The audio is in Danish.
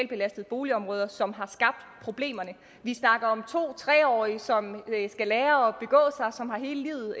belastede boligområder som har skabt problemerne vi snakker om to tre årige som skal lære